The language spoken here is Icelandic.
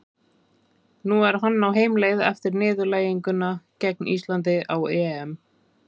Nú er hann á heimleið eftir niðurlæginguna gegn Íslandi á EM.